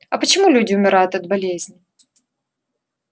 а почему люди умирают от болезней